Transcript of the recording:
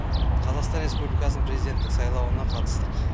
қазақстан республикасының президенттік сайлауына қатыстық